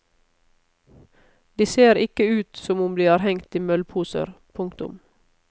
De ser ikke ut som om de har hengt i møllposer. punktum